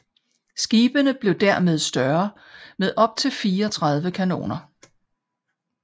Skibene blev dermed større med optil 34 kanoner